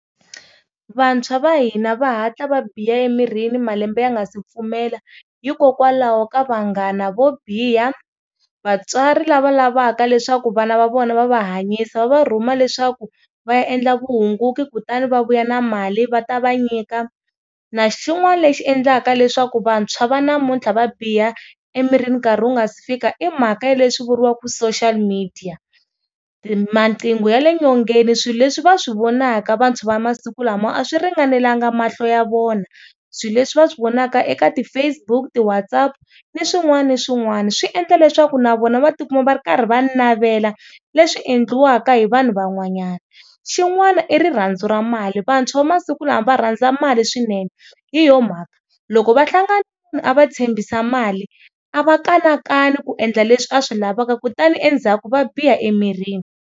Vantshwa va hina va hatla va biha emirini malembe ya nga si pfumela hikokwalaho ka vanghana vo biha, vatswari lava lavaka leswaku vana va vona va va hanyisa va va rhuma leswaku va ya endla vuhunguki, kutani va vuya na mali va ta va nyika na xin'wana lexi endlaka leswaku vantshwa va namuntlha va biha emirini nkarhi wu nga si fika i mhaka ya leswi vuriwaka social media, maqhingo ya le nyongeni swilo leswi va swi vonaka vantshwa vamasiku lama a swi ringanelanga mahlo ya vona, swilo leswi va swi vonaka eka ti Facebook ti WhatsApp ni swin'wana na swin'wana swi endla leswaku na vona va tikuma va ri karhi va navela leswi endliwaka hi vanhu va n'wanyana. Xin'wana i rirhandzu ra mali vantshwamasiku lama va rhandza mali swinene, hi yo mhaka loko va hlangana a va tshembisa mali a va kanakana ku endla leswi a swi lavaka kutani endzhaku va biha emirini.